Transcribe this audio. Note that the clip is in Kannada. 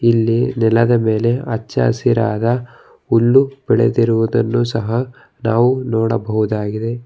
ಇಲ್ಲಿ ನೆಲದ ಮೇಲೆ ಅಚ್ಚ ಹಸಿರಾದ ಹುಲ್ಲು ಬೆಳೆದಿರುವುದನ್ನು ಸಹ ನಾವು ನೋಡಬಹುದಾಗಿದೆ.